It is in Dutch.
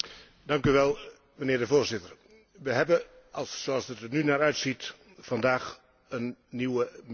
Voorzitter, we hebben zoals het er nu naar uitziet vandaag een nieuwe meerjarenbegroting.